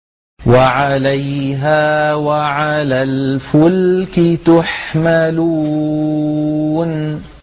وَعَلَيْهَا وَعَلَى الْفُلْكِ تُحْمَلُونَ